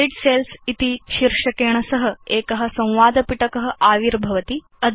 delete cells इति शीर्षकेण सह एक संवाद पिटक आविर्भवति